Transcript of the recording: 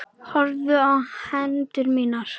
Horfði á hendur mínar.